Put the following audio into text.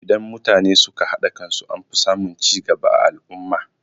Idan mutane suka haɗa kan su anfi samun cigaba a al'umma.